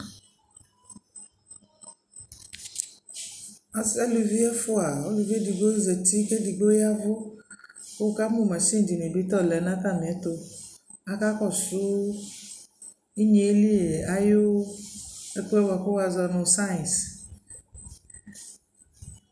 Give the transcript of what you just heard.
alʋvi ɛfʋa, ʋlʋvi ɛdigbɔ zati kʋ ɛdigbɔ yavʋ kʋ wʋ kamʋ mashini dini bi ta ɔlɛnʋ atami ɛtʋ, aka kɔsʋ inyɛli ayʋ ɛkʋɛ bakʋ wazɔnʋ science